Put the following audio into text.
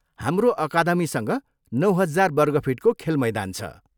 हाम्रो अकादमीसँग नौ हजार वर्ग फिटको खेलमैदान छ।